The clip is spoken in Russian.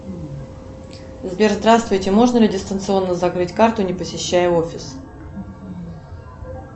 сбер здравствуйте можно ли дистанционно закрыть карту не посещая офис